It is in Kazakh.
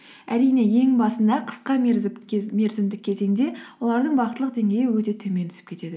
әрине ең басында қысқа мерзімдік кезеңде олардың бақыттылық деңгейі өте төмен түсіп кетеді